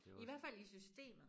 I hvert fald i systemet